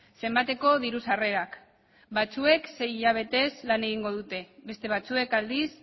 zenbateko diru sarrerak batzuek sei hilabetez lan egingo dute beste batzuek aldiz